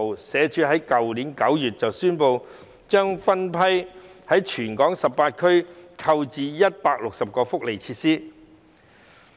社署於去年9月宣布，將分批在全港18區購置160個福利設施。